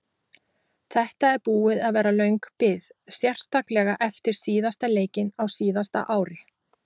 Þetta er búið að vera löng bið sérstaklega eftir síðasta leikinn á síðasta ári.